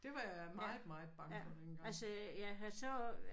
Det var jeg meget meget bange for dengang